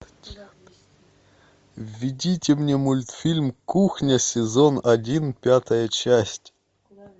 введите мне мультфильм кухня сезон один пятая часть